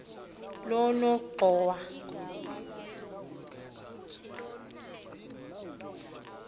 lonongxowa